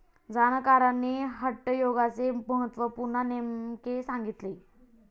जाणकारांनी हटयोगाचे महत्व पुन्हा नेमके सांगितले.